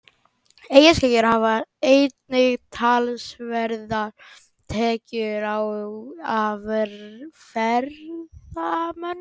Eyjaskeggjar hafa einnig talsverðar tekjur af ferðamönnum.